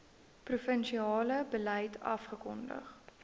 provinsiale beleid afgekondig